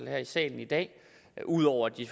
her i salen i dag ud over at de